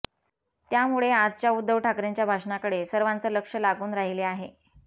त्यामुळे आजच्या उद्धव ठाकरेंच्या भाषणाकडे सर्वांचं लक्ष लागून राहिले आहे